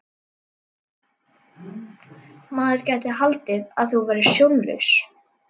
Maður gæti haldið að þú værir sjónlaus!